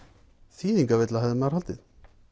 þýðingavilla hefði maður haldið